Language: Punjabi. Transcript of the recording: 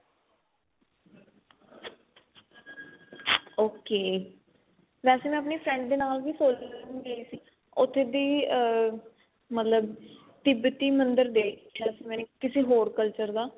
ok ਵੈਸੇ ਮੈਂ ਆਪਣੀ friends ਦੇ ਨਾਲ ਵੀ solon ਗਾਈ ਸੀ ਉੱਥੇ ਦੀ ਆ ਮਤਲਬ ਤਿਬਤੀ ਮੰਦਰ ਦੇਖਿਆ ਸੀ ਮੈਨੇ ਕਿਸੇ ਹੋਰ culture ਦਾ